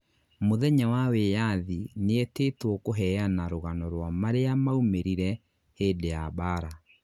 mũthenya wa wĩathi nietĩtwo kũheana rũgano rwa maria maumĩrire hĩndĩ ya mbara